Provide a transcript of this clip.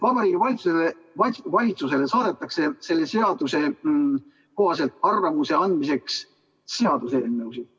Vabariigi Valitsusele saadetakse selle seaduse kohaselt arvamuse andmiseks seaduseelnõusid.